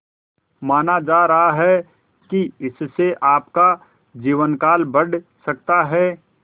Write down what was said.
माना जा रहा है कि इससे आपका जीवनकाल बढ़ सकता है